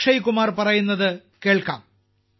അക്ഷയ് കുമാർ പറയുന്നത് കേൾക്കാം